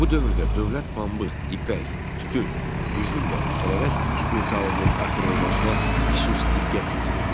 Bu dövrdə dövlət pambıq, ipək, tütün, üzüm və tərəvəz istehsalının artırılmasına xüsusi diqqət yetirirdi.